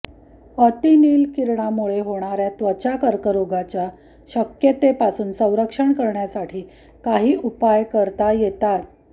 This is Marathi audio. अतिनील किरणामुळे होणाऱ्या त्वचा कर्करोगाच्या शक्यतेपासून संरक्षण करण्यासाठी काही उपाय करता य्रेतात